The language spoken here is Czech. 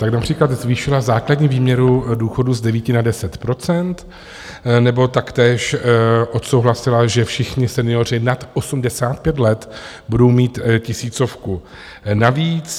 Tak například zvýšila základní výměru důchodů z 9 na 10 % nebo taktéž odsouhlasila, že všichni senioři nad 85 let budou mít tisícovku navíc.